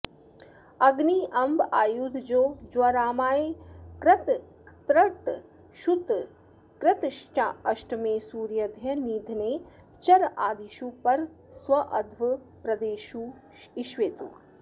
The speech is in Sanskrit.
अग्न्यंब्वायुधजो ज्वरामय कृतस्तृट् क्षुत् कृतश्चाष्टमे सूर्याद्यैर्निधने चरादिषु पर स्वाध्व प्रदेशेष्विति